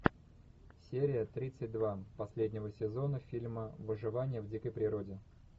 серия тридцать два последнего сезона фильма выживание в дикой природе